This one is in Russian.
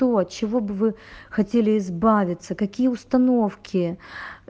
то от чего бы вы хотели избавиться какие установки